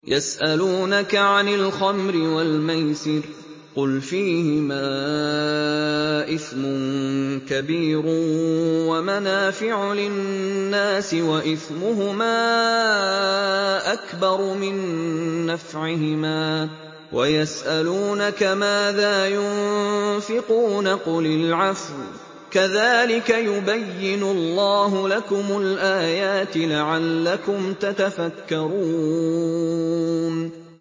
۞ يَسْأَلُونَكَ عَنِ الْخَمْرِ وَالْمَيْسِرِ ۖ قُلْ فِيهِمَا إِثْمٌ كَبِيرٌ وَمَنَافِعُ لِلنَّاسِ وَإِثْمُهُمَا أَكْبَرُ مِن نَّفْعِهِمَا ۗ وَيَسْأَلُونَكَ مَاذَا يُنفِقُونَ قُلِ الْعَفْوَ ۗ كَذَٰلِكَ يُبَيِّنُ اللَّهُ لَكُمُ الْآيَاتِ لَعَلَّكُمْ تَتَفَكَّرُونَ